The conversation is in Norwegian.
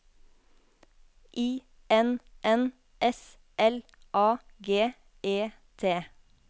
I N N S L A G E T